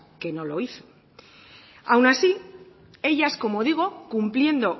que no lo hizo aún así ellas como digo cumpliendo